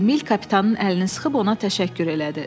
Emil kapitanın əlini sıxıb ona təşəkkür elədi.